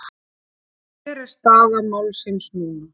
Hver er staða málsins núna?